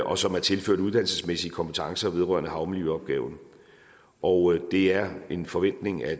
og som er tilført uddannelsesmæssige kompetencer vedrørende havmiljøopgaven og det er en forventning at